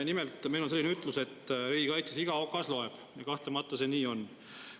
Nimelt, meil on riigikaitse kohta selline ütlus, et iga okas loeb, ja kahtlemata see nii on.